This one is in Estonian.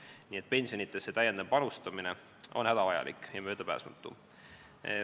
Nii et täiendav pensionidesse panustamine on hädavajalik ja möödapääsmatu.